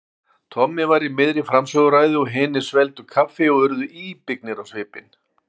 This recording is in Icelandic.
Tommi var í miðri framsöguræðu og hinir svelgdu kaffi og urðu íbyggnir á svipinn.